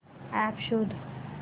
app शोध